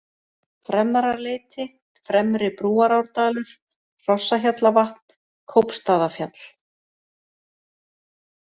Fremra-Leiti, Fremri-Brúarárdalur, Hrossahjallavatn, Kópstaðafjall